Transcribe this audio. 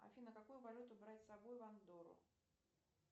афина какую валюту брать с собой в андору